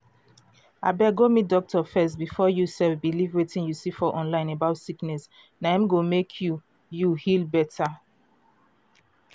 abeg go meet doctor first before you sef believe wetin you see for online about sickness. na im go mek you you heal better.